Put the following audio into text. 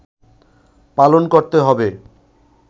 পালন করতে হবে